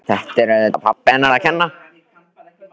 Þetta er auðvitað pabba hennar að kenna.